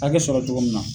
Hakɛ sɔrɔ cogo min na